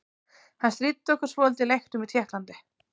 Hann stríddi okkur svolítið í leiknum í Tékklandi.